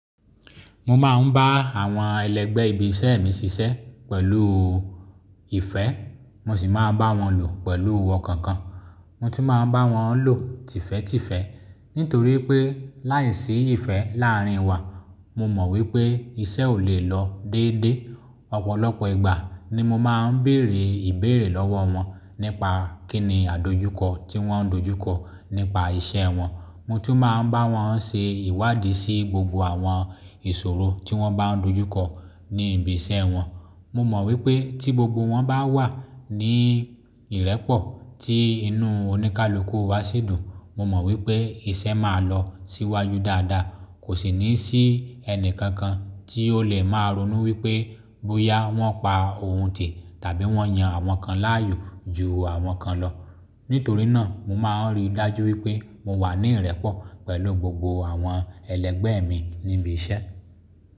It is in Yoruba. Mo máa ń bá àwọn ẹlẹgbẹ́ ibi isẹ́ mi sisẹ́ pẹ̀lú ìfẹ́, mo sì máa bá wọn lò pẹ̀lú ọkan kan. Mo tún máa ń bá wọn lò tìfẹ́ tìfẹ́ nítorí pé láìsí ìfẹ́ láàárín wa, mo mọ̀ wípé isẹ́ ò lè lọ déédé. Ọ̀pọ̀lọpọ̀ ìgbà ni mo máa ń bèrè ìbéèrè lọ́wọ́ wọn nípa kíni àdojúkọ tí wọ́n ń dojúkọ nípa iṣẹ́ wọn. Mo tún máa ń bá wọn ṣe ìwádìí sí gbogbo àwọn ìṣòro tí wọ́n bá ń dojúkọ ní ibi iṣẹ́ wọn. Mo mọ̀ wípé tí gbogbo wọn bá wà ní ìrẹ́pọ̀ tí inú oníkálukú wa sì dùn, mo mọ̀ wípé isẹ́ máa lọ síwájú dáadáa. Kò sì ní sí ẹni kankan tí ó lè máa ronú wípé bóyá wọ́n pa òun ti tàbí wọ́n yan àwọn kan láàyò ju àwọn kan lọ. Nítorí náà mo máa ń rí dájú wípé mo wà ní ìrẹ́pọ̀ pẹ̀lú gbogbo àwọn ẹlẹgbẹ́ mi ní ibi iṣẹ́.